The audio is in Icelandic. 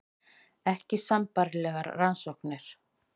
Ekki sambærilegar rannsóknir